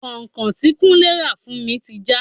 Kọ́nkọ̀n tí kúnlé ra fún mi ti já.